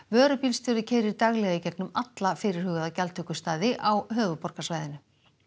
vörubílstjóri keyrir daglega í gegnum alla fyrirhugaða gjaldtökustaði á höfuðborgarsvæðinu